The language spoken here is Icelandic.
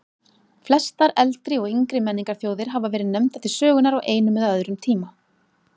Flestar eldri og yngri menningarþjóðir hafa verið nefndar til sögunnar á einum eða öðrum tíma.